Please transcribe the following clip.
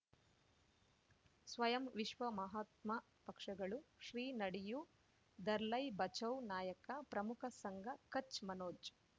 ಸ್ವಯಂ ವಿಶ್ವ ಮಹಾತ್ಮ ಪಕ್ಷಗಳು ಶ್ರೀ ನಡೆಯೂ ದರ್ಲೈ ಬಚೌ ನಾಯಕ ಪ್ರಮುಖ ಸಂಘ ಕಚ್ ಮನೋಜ್